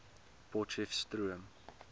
potcheftsroom